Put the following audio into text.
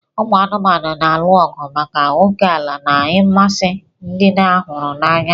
Ụmụ anụmanụ na-alụ ọgụ maka ókèala na ịmasị ndị a huru n'anya.